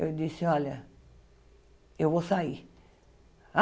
Eu disse, olha, eu vou sair.